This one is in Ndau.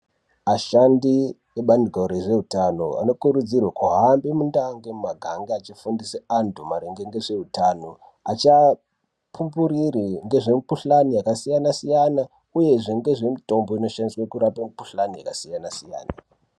Ashandi ebaandiko rezveutano anokurudzirwe kuhambe mundau nemumiganga achifundise anhu maringe ngezveutano achiapupurire ngezvemikhuhlani yakasiyanasiyana uyezve nezvemitombo inoshandiswe kurape mikhuhlani yakasiyanasiyana.